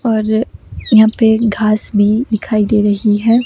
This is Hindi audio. और यहां पे घास भी दिखाई दे रही है।